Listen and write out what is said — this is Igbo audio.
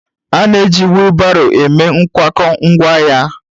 A na-eji wheelbarrow eme nkwakọ ngwaahịa.